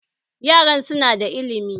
Yaran su na da ilimi